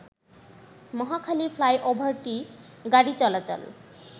মহাখালী ফ্লাইওভারটি গাড়িচলাচল